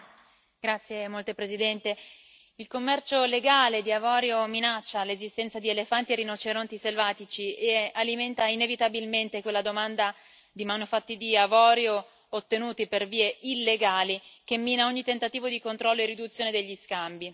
Signor Presidente, onorevoli colleghi, il commercio illegale di avorio minaccia l'esistenza di elefanti e rinoceronti selvatici e alimenta inevitabilmente quella domanda di manufatti di avorio ottenuti per vie illegali che mina ogni tentativo di controllo e riduzione degli scambi.